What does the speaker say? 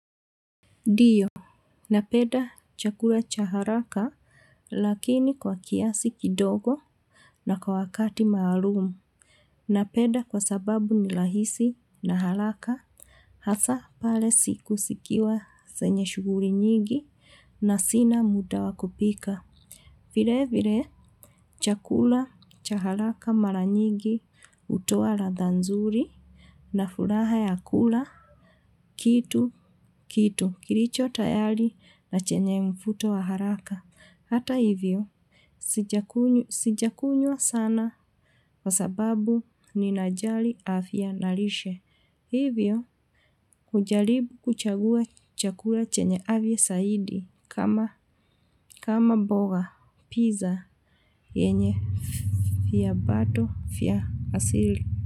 Ndiyo, napenda chakula cha haraka lakini kwa kiasi kidogo na kwa wakati maalumu. Napenda kwa sababu ni rahisi na haraka hasa pale siku sikiwa senye shughuri nyingi na sina muda wa kupika. Vile vile, chakula cha haraka mara nyigi hutoa ladha nzuri na furaha ya kula kitu kitu. Kilicho tayali na chenye mfuto wa haraka. Hata hivyo, sijakunywa sana kwa sababu ninajali afya na lishe. Hivyo, hujalibu kuchagua chakula chenye afya saidi. Kama mboga, piza, yenye fiabato, fya asili.